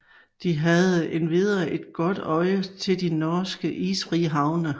De havde endvidere et godt øje til de norske isfri havne